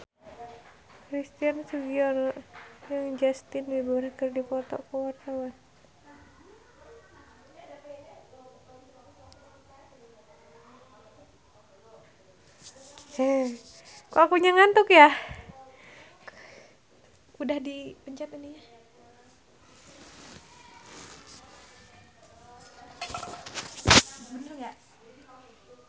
Christian Sugiono jeung Justin Beiber keur dipoto ku wartawan